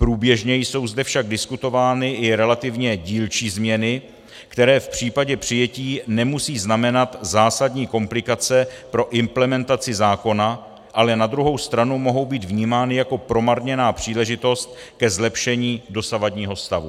Průběžně jsou zde však diskutovány i relativně dílčí změny, které v případě přijetí nemusí znamenat zásadní komplikace pro implementaci zákona, ale na druhou stranu mohou být vnímány jako promarněná příležitost ke zlepšení dosavadního stavu.